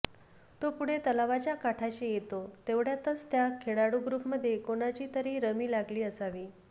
तो पुढे तलावाच्या काठाशी येतो तेवढ्यातच त्या खेळाडू ग्रूपमधे कोणाची तरी रमी लागली असावी